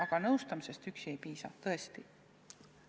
Aga nõustamisest üksi ei piisa, tõesti.